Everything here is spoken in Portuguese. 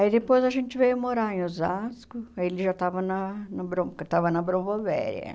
Aí depois a gente veio morar em Osasco, aí ele já estava na na Brom estava na Bronvovéria.